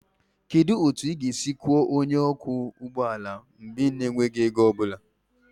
Kedu otu ị ga-esi kwụọ onye ọkwọ ụgbọ ala mgbe ị na-enweghị ego ọ bụla?